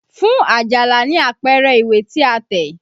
Fún Àjàlá ní àpẹẹrẹ ìwé tí a tẹ̀!